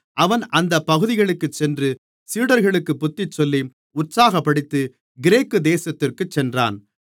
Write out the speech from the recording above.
அவன் அந்த பகுதிகளுக்குச் சென்று சீடர்களுக்குப் புத்திச்சொல்லி உற்சாகப்படுத்தி கிரேக்கு தேசத்திற்குச் சென்றான்